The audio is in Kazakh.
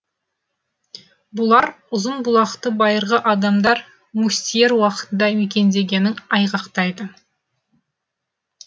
бұлар ұзынбұлақты байырғы адамдар мустьер уақытында мекендегенін айғақтайды